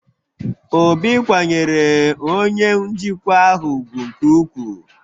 Obi kwanyere onye njikwa ahụ ugwu nke ukwuu